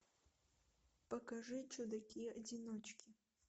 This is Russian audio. покажи чудаки одиночки